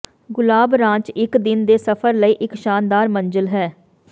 ਗੁਲਾਬ ranch ਇੱਕ ਦਿਨ ਦੇ ਸਫ਼ਰ ਲਈ ਇੱਕ ਸ਼ਾਨਦਾਰ ਮੰਜ਼ਿਲ ਹੈ